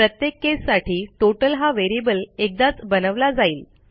प्रत्येक केससाठी टोटल हा व्हेरिएबल एकदाच बनवला जाईल